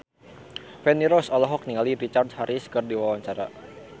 Feni Rose olohok ningali Richard Harris keur diwawancara